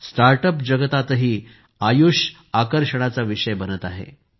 startup जगातही आयुष आकर्षणाचा विषय बनत आहे